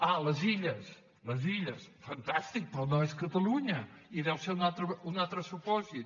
ah les illes les illes fantàstic però no és catalunya i deu ser un altre supòsit